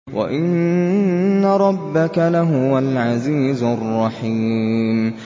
وَإِنَّ رَبَّكَ لَهُوَ الْعَزِيزُ الرَّحِيمُ